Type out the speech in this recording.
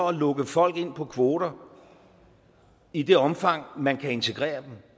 at lukke folk ind på kvoter i det omfang man kan integrere dem